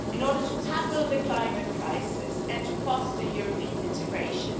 in order to tackle the climate crisis and to foster European integration.